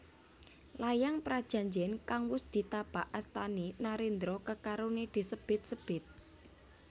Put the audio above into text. Layang prajanjen kang wis ditapak astani narendra kekarone disebit sebit